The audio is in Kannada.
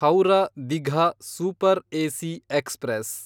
Howrah Digha super AC express